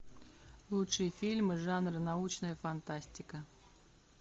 лучшие фильмы жанра научная фантастика